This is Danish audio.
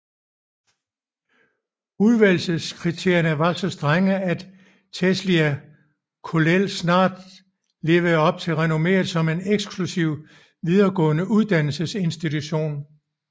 Udvælgelseskriterierne var så strenge at Telšiai Kollel snart levede op til renommeet som en eksklusiv videregående uddannelsesinstitution